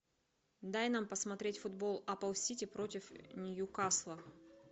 дай нам посмотреть футбол апл сити против ньюкасла